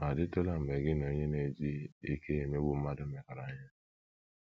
Ọ̀ DỊTỤLA mgbe gị na onye na - eji ike ya emegbu mmadụ mekọrọ ihe?